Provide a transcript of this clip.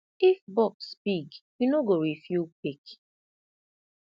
if box big you no go refill quick